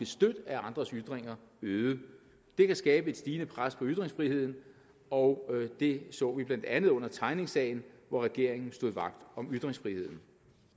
stødt af andres ytringer øget det kan skabe et stigende pres på ytringsfriheden og det så vi blandt andet under tegningsagen hvor regeringen stod vagt om ytringsfriheden